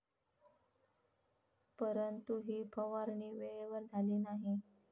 परंतु ही फवारणी वेळेवर झाली नाही.